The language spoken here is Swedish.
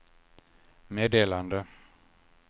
meddelande